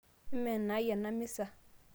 ime enaai ena misa